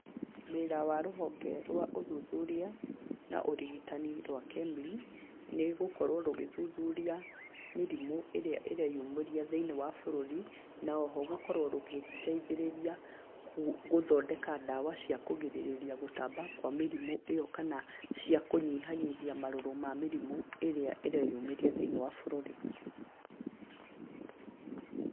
Wĩra wa rũhonge rwa ũthuthuria na ũrigitani rwa KEMRI nĩ gũkorwo rũgĩthuthuria mĩrimu ĩrĩa ĩreyumĩria thĩ-inĩ wa bũrũri, na oho gũkorwo rũgĩteithĩrĩria gũthondeka ndawa cia kũgirĩrĩria gũtamba kwa mĩrimu ĩyo kana cia kũnyihanyihia marũrũ ma mĩrimũ ĩrĩa ĩreyumĩria thĩ-inĩ wa bũrũri.